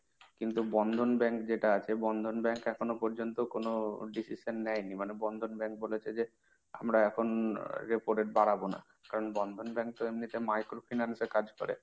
কিন্তু Bandhan bank যেটা আছে, Bandhan bank এখনো পর্যন্ত কোন decision নেয়নি। মানে Bandhan bank বলেছে যে, আমরা এখন repo rate বাড়াবো না। কারণ Bandhan bank এমনিতো micro finance এ কাজ করে।